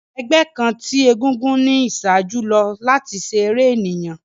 Ẹgbẹ kan ti egúngún ni iṣaaju lo lati ṣe ere eniyan.